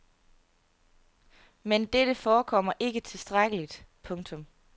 Men dette forekommer ikke tilstrækkeligt. punktum